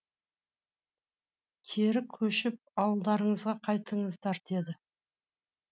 кері көшіп ауылдарыңызға қайтыңыздар деді